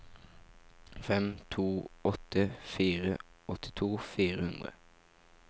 fem to åtte fire åttito fire hundre